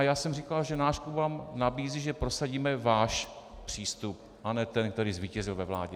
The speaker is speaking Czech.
A já jsem říkal, že náš klub vám nabízí, že prosadíme váš přístup, a ne ten, který zvítězil ve vládě.